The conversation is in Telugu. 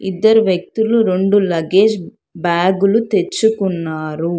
ఇద్దరు వ్యక్తులు రెండు లగేజ్ బ్యాగులు తెచ్చుకున్నారు.